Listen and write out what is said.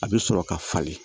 A bɛ sɔrɔ ka falen